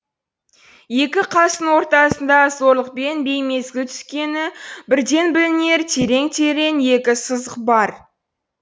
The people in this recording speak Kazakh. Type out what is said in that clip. екі қасының ортасында зорлықпен беймезгіл түскені бірден білінер терең терең екі сызық бар